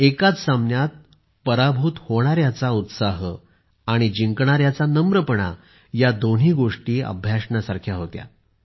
एकाच सामन्यात पराभूत होणाऱ्याचा उत्साह आणि जिंकणाऱ्याचा नम्रपणा या दोन्ही गोष्टी अभ्यासण्यासारख्या होत्या